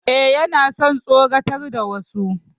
E, yana son tsoratar da wasu.